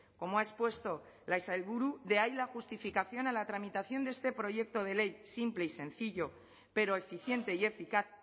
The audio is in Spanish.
como ha expuesto la sailburu de ahí la justificación a la tramitación de este proyecto de ley simple y sencillo pero eficiente y eficaz